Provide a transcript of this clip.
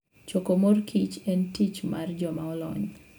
Choko mor kich en tich mar joma olony.